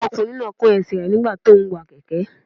Ọmọkùnrin náà kán ẹsẹ̀ rẹ̀ nígbà tí óún wa kẹ̀kẹ́